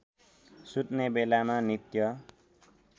सुत्ने बेलामा नित्य